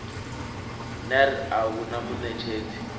ner a hu na muṋetshedzi